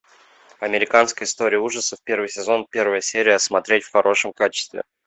американская история ужасов первый сезон первая серия смотреть в хорошем качестве